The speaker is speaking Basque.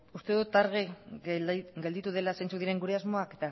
uste dut argi gelditu dela zeintzuk diren gure asmoak